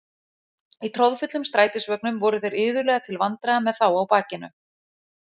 Í troðfullum strætisvögnum voru þeir iðulega til vandræða með þá á bakinu.